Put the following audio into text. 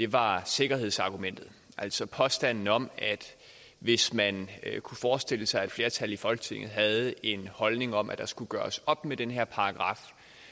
var sikkerhedsargumentet altså påstanden om at hvis man kunne forestille sig at et flertal i folketinget havde en holdning om at der skulle gøres op med den her paragraf